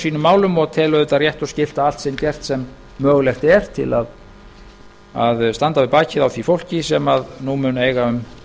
sínum málum og tel auðvitað rétt og skylt að allt sé gert sem mögulegt er til að standa við bakið á því fólki sem nú mun eiga um